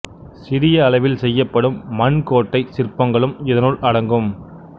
சிறிய அளவில் செய்யப்படும் மண் கோட்டைச் சிற்பங்களும் இதனுள் அடங்கும்